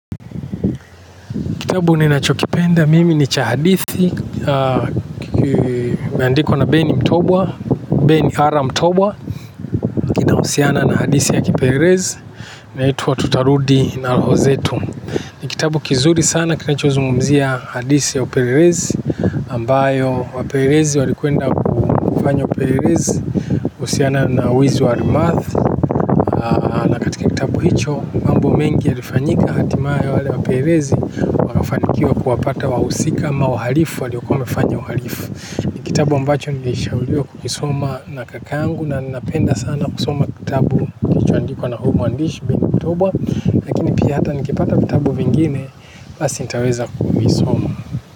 Kitabu ninachokipenda mimi ni cha hadithi kimeandikwa na ben mtombwa ben hara mtombwa kinahusiana na hadisi ya kipelesi inaitwa tutarudi na roho zetu. Ni kitabu kizuri sana kinachozungumzia hadisi ya uperezi ambayo wapelelezi walikwenda kufanya upelelesi. Usiana na wizi wa rimath. Na katika kitabu hicho mambo mengi ya rifanyika hatima ye wale waperezi. Wakafanikiwa kuwapata wahusika ama wahalifu waliokuwa wamefanya uhalifu. Ni kitabu ambacho nilishauliwa kukisoma na kakangu. Ninapenda sana kusoma kitabu kilichoandikwa na huu mwandishi ben mtobwa lakini pia hata nikipata vitabu vingine basi nitaweza kuvisoma.